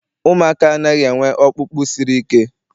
Ụmụaka anaghị enwe ọkpụkpụ siri ike.